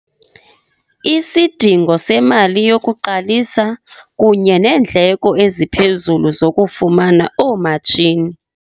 Isidingo semali yokuqalisa kunye neendleko eziphezulu zokufumana oomatshini.